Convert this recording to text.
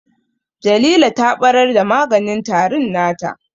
Jalila ta ɓarar da maganin tarin nata